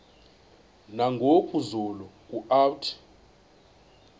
nangoku zulu uauthi